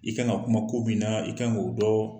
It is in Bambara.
I kan ka kuma ko min na, i kan k'o dɔn